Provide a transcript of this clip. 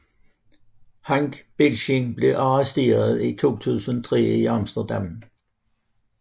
Henk Bieslijn blev arresteret i 2003 i Amsterdam